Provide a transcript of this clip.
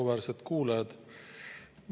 Auväärsed kuulajad!